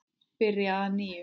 Byrja að nýju?